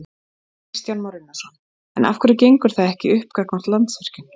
Kristján Már Unnarsson: En af hverju gengur það ekki upp gagnvart Landsvirkjun?